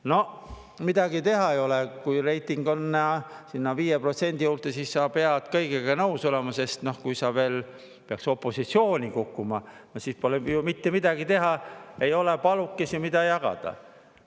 No midagi teha ei ole, kui reiting on 5% juures, siis sa pead kõigega nõus olema, sest kui sa peaksid veel opositsiooni kukkuma, siis pole ju mitte midagi teha, ei ole palukesi, mida jagada.